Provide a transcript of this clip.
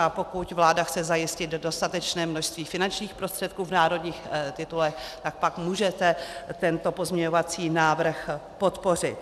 A pokud vláda chce zajistit dostatečné množství finančních prostředků v národních titulech, tak pak můžete tento pozměňovací návrh podpořit.